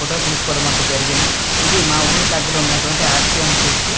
ఫోటోలు తీసుకోవడం అంటూ జరిగింది ఇది మా ఊరి దెగ్గర ఉన్నటు వంటి ఆర్_సి_ఏం చర్చ .